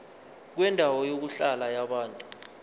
kwendawo yokuhlala yabantu